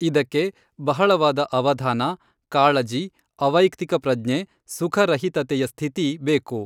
ಇದಕ್ಕೆ ಬಹಳವಾದ ಅವಧಾನ, ಕಾಳಜಿ, ಅವೈಕ್ತಿಕ ಪ್ರಜ್ಞೆ, ಸುಖರಹಿತತೆಯ ಸ್ಥಿತಿ ಬೇಕು.